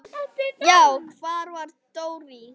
Já, hvar var Dóri?